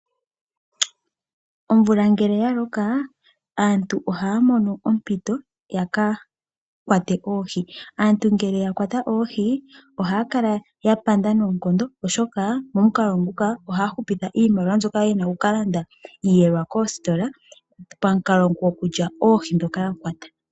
Omvula ngele ya loka aantu ohaya mono ompito ya ka kwate oohi. Aantu ngele ya kwata oohi ohaya kala ya panda noonkondo, oshoka momukalo nguka ohaya hupitha iimaliwa mbyoka ya li ye na oku ka longitha okulanda osheelelwa koositola pamukalo gokulya oohi ndhoka ya kwata.